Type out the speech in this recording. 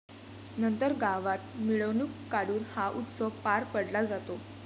नंतर गावात मिरवणूक काढून हा उत्सव पार पडला जातो.